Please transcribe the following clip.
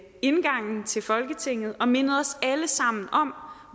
indgangen til folketinget og mindet os alle sammen om